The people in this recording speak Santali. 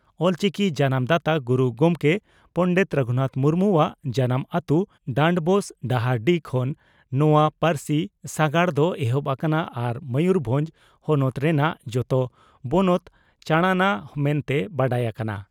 ᱚᱞᱪᱤᱠᱤ ᱡᱟᱱᱟᱢ ᱫᱟᱛᱟ ᱜᱩᱨᱩ ᱜᱚᱢᱠᱮ ᱯᱚᱸᱰᱮᱛ ᱨᱟᱹᱜᱷᱩᱱᱟᱛᱷ ᱢᱩᱨᱢᱩᱣᱟᱜ ᱡᱟᱱᱟᱢ ᱟᱹᱛᱩ ᱰᱟᱱᱰᱵᱳᱥ (ᱰᱟᱦᱟᱨᱰᱤ) ᱠᱷᱚᱱ ᱱᱚᱣᱟ ᱯᱟᱹᱨᱥᱤ ᱥᱟᱜᱟᱲ ᱫᱚ ᱮᱦᱚᱵ ᱟᱠᱟᱱᱟ ᱟᱨ ᱢᱚᱭᱩᱨᱵᱷᱚᱸᱡᱽ ᱦᱚᱱᱚᱛ ᱨᱮᱱᱟᱜ ᱡᱚᱛᱚ ᱵᱚᱱᱚᱛ ᱪᱟᱬᱟᱱᱟ ᱢᱮᱱᱛᱮ ᱵᱟᱰᱟᱭ ᱟᱠᱟᱱᱟ ᱾